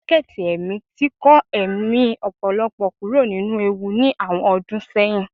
Jaketí emí tí kọ emí ọpọlọpọ kuro ninú ewú ní awọn ọdun seyín